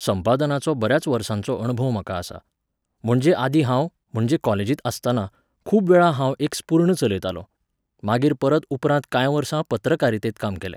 संपादनाचो बऱ्याच वर्सांचो अणभव म्हाका आसा. म्हणजे आदी हांव, म्हणजे कॉलेजींत आसताना, खूब वेळा हांव एक स्पुर्ण चलयतालों. मागीर परत उपरांत काय वर्सां पत्रकारितेंत काम केलें